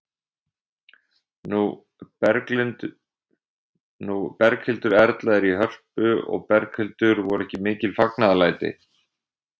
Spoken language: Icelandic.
Nú Berghildur Erla er í Hörpu og Berghildur, voru ekki mikil fagnaðarlæti?